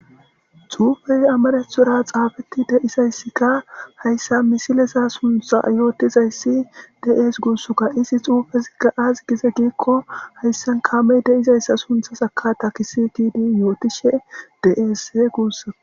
Xuufey amarethora xaafeti deizayssikka hayssa misilesa suntha yootizayssi dees guussukka isi xuufezigga az gize giikko hayssan kaamey deizayssa suntha saka takisi tidi yootishe dees guussaa.